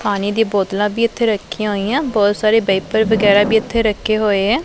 ਪਾਣੀ ਦੀ ਬੋਤਲਾਂ ਵੀ ਇੱਥੇ ਰੱਖੀਆਂ ਹੋਈਆਂ ਬਹੁਤ ਸਾਰੇ ਵਾਈਪਰ ਵਗੈਰਾ ਵੀ ਇਥੇ ਰੱਖੇ ਹੋਏ ਹੈ।